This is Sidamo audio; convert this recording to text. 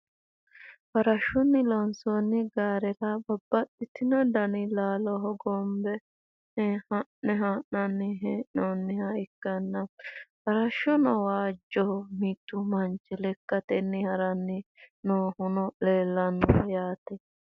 farashshunni loonsoonni gaarera babbaxitino dani laalo hogombe haa'ne ha'nanni hee'noonniha ikkanna, farashshuno waajjoho, mittu manchi lekkatenni haranni noohuno leelanno yaate.